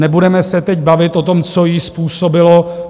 Nebudeme se teď bavit o tom, co ji způsobilo.